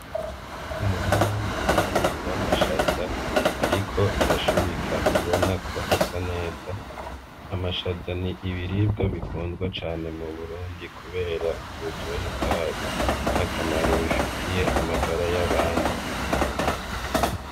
Umurima munini w' amashaza, ariko arashurika ubona ko asa neza amashaza ni ibiribwa bikunzwa cane mu burundi, kubera uburyohe bwayo n'akamaro bifitiye amagara y'abantu.